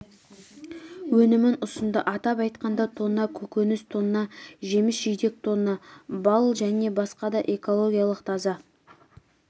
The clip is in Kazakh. өнімін ұсынды атап айтқанда тонна көкөніс тонна жеміс-жидек тонна бал және басқа да экологиялық таза